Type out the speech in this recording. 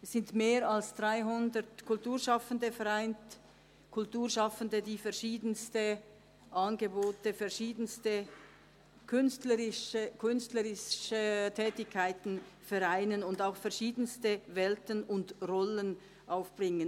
Es sind mehr als 300 Kulturschaffende vereint, die verschiedenste Angebote und künstlerische Tätigkeiten zusammenbringen und auch verschiedenste Welten und Rollen aufbringen.